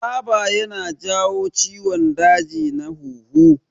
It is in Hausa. Taba ya na jawo ciwon daji na huhu